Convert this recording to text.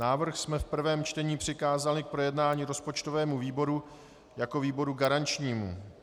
Návrh jsme v prvém čtení přikázali k projednání rozpočtovému výboru jako výboru garančnímu.